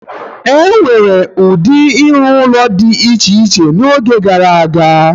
E nwere ụdị ịrụ ụlọ dị iche iche n'oge gara aga.